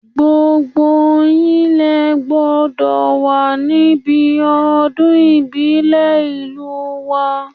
Gbogbo yín lé gbọ́dọ̀ wà níbi ọdún ìbílẹ̀ ìlú wa